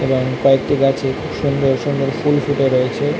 এবং কয়েকটি গাছে খুব সুন্দর সুন্দর ফুল ফুটে রয়েছে।